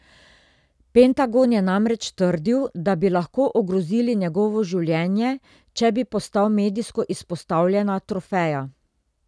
Pentagon je namreč trdil, da bi lahko ogrozili njegovo življenje, če bi postal medijsko izpostavljena trofeja.